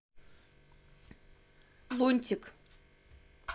лунтик